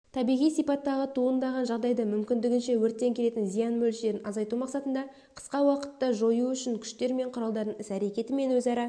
табиғи сипаттағы туындаған жағдайда мүмкіндігінше өрттен келетін зиян мөлшерін азайту мақсатында қысқа уақытта жою үшін күштер мен құралдардың іс-әрекеті мен өзара